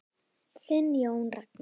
Þinn Jón Ragnar.